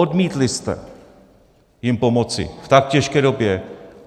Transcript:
Odmítli jste jim pomoci v tak těžké době.